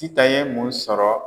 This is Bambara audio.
Sitan ye mun sɔrɔ?